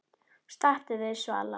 Stattu þig, Svala